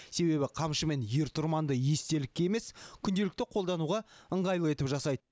себебі қамшы мен ер тұрманды естелікке емес күнделікті қолдануға ыңғайлы етіп жасайды